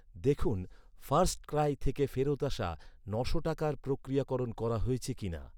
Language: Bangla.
দেখুন, ফার্স্টক্রাই থেকে ফেরত আসা ন'শো টাকার প্রক্রিয়াকরণ করা হয়েছে কিনা!